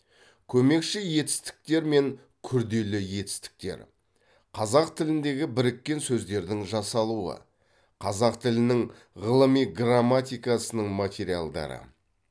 көмекші етістіктер мен күрделі етістіктер қазақ тіліндегі біріккен сөздердің жасалуы қазақ тілінің ғылыми грамматикасының материалдары